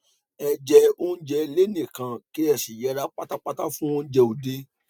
ẹ jẹ oúnjẹ ilé nìkan kí ẹ sì yẹra pátápátá fún oúnjẹ òde